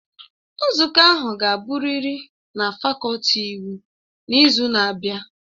Nzukọ ahụ ga-abụrịrị na fakọlti iwu n'izu na-abịa!